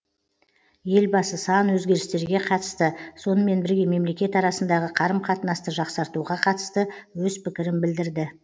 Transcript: елбасы сан өзгерістерге қатысты сонымен бірге мемлекет арасындағы қарым қатынасты жақсартуға қатысты өз пікірін білдірді